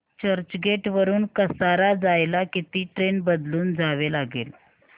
चर्चगेट वरून कसारा जायला किती ट्रेन बदलून जावे लागेल